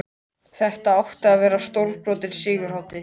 Þetta átti að verða stórbrotin sigurhátíð!